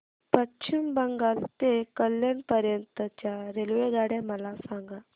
पश्चिम बंगाल ते कल्याण पर्यंत च्या रेल्वेगाड्या मला सांगा